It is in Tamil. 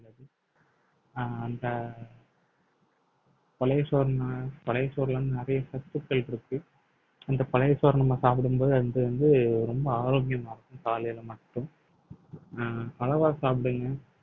அஹ் அந்த பழைய சோறுனா பழைய சோறுல இருந்து நிறைய சத்துக்கள் இருக்கு அந்த பழைய சோறை நம்ம சாப்பிடும்போது அது வந்து ரொம்ப ஆரோக்கியமா இருக்கும் காலையில மட்டும் அஹ் அளவா சாப்பிடுங்க